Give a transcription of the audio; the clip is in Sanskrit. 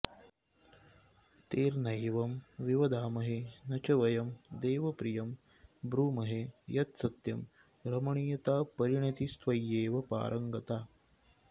तैर्नैवं विवदामहे न च वयं देव प्रियं ब्रूमहे यत्सत्यं रमणीयतापरिणतिस्त्वय्येव पारंगता